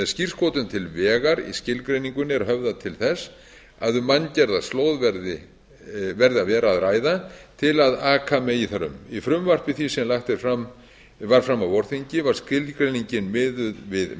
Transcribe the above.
skírskotun til vegar í skilgreiningunni er höfðað til þess að um manngerða slóð verði að vera að ræða til að aka megi þar um í frumvarpi því sem lagt var fram á vorþingi var skilgreiningin miðuð við